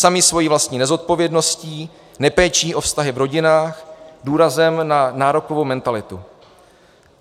Sami svou vlastní nezodpovědností, nepéčí o vztahy v rodinách, důrazem na nárokovou mentalitu.